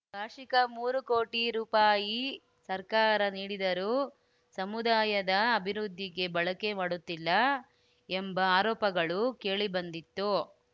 ವಾರ್ಷಿಕ ಮೂರು ಕೋಟಿ ರೂಪಾಯಿ ಸರ್ಕಾರ ನೀಡಿದರೂ ಸಮುದಾಯದ ಅಭಿವೃದ್ಧಿಗೆ ಬಳಕೆ ಮಾಡುತ್ತಿಲ್ಲ ಎಂಬ ಆರೋಪಗಳು ಕೇಳಿಬಂದಿತ್ತು